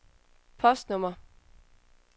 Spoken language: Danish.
postnummer